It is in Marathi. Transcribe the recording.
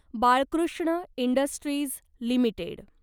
Balkrishna industries limited